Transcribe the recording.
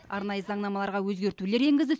арнайы заңнамаларға өзгертулер енгізді